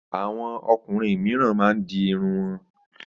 Àwọn ọkùnrin mìíràn máa ń di irun wọn.